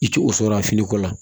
I ti o sɔrɔ a finiko la